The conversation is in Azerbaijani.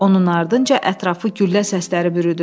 Onun ardınca ətrafı güllə səsləri bürüdü.